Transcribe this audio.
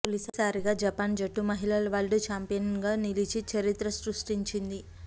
తొలి సారిగా జపాన్ జట్టు మహిళల వరల్డ్ చాంపియన్గా నిలిచి చరిత్ర సృష్టించింది